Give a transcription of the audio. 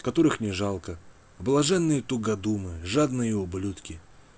которых не жалко блаженные тугодумы жадные ублюдки